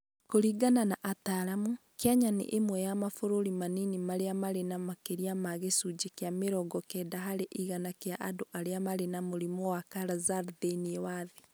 Kũringana na ataaramu, Kenya nĩ ĩmwe ya mabũrũri manini marĩa marĩ na makĩria ma gĩcunjĩ kĩa mĩrongokenda harĩ igana kĩa andũ arĩa marĩ na mũrimũ wa Kala-azar thĩinĩ wa thĩ.